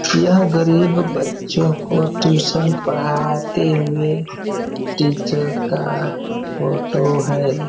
यहाँ गरीब बच्चों को टूशन पढ़ाते हुए टीचर का फोटो है।